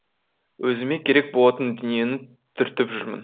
өзіме керек болатын дүниені түртіп жүрмін